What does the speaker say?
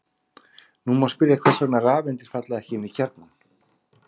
Nú má spyrja hvers vegna rafeindir falla ekki inn í kjarnann.